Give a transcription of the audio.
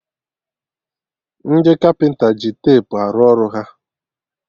Ndị kapịnta ji tepu arụ ọrụ ha